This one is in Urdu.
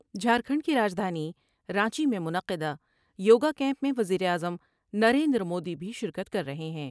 جھارکھنڈ کی رجدھانی رانچی میں منعقدہ یو گا کیمپ میں وزیر اعظم نریندر مودی بھی شرکت کر رہے ہیں ۔